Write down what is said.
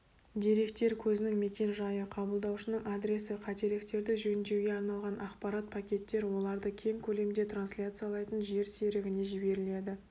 деректер көзінің мекен-жайы қабылдаушының адресі қателерді жөндеуге арналған ақпарат пакеттер оларды кең көлемде трансляциялайтын жер серігіне жіберіледі